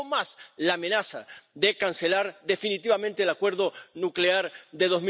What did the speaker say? Y aún más la amenaza de cancelar definitivamente el acuerdo nuclear de